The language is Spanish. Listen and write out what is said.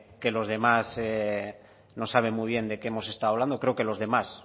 que los demás no saben muy bien de qué hemos estado hablando creo que los demás